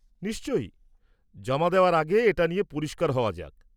নিশ্চই, জমা দেওয়ার আগে এটা নিয়ে পরিষ্কার হওয়া যাক।